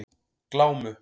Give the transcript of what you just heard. Glámu